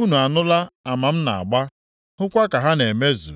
Unu anụla ama m na-agba, hụkwa ka ha na-emezu,